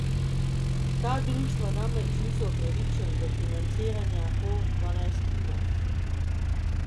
Ta društva namreč niso upravičena do financiranja po dvanajstinah.